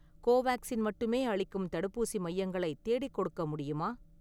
கோவேக்சின் மட்டுமே அளிக்கும் தடுப்பூசி மையங்களை தேடிக்கொடுக்க முடியுமா?